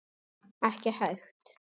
Ekki hægt.